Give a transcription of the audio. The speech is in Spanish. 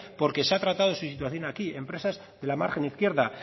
porque se ha tratado su situación aquí empresas de la margen izquierda